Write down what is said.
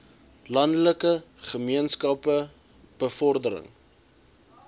landelike gemeenskappe bevordering